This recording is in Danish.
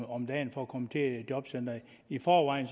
om dagen for at komme til et jobcenter i forvejen